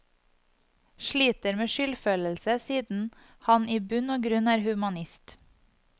Sliter med skyldfølelse siden han i bunn og grunn er humanist.